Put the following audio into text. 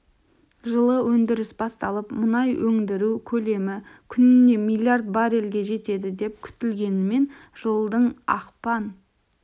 жылы өңдіріс басталып мұнай өңдіру көлемі күніне миллиард баррельге жетеді деп күтілгенімен жылдың ақпан